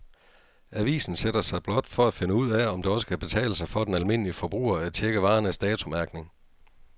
Avisen sætter sig blot for at finde ud af, om det også kan betale sig for den almindelige forbruger at checke varernes datomærkning.